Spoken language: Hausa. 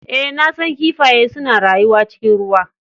Ee, na san kifaye suna rayuwa cikin ruwa.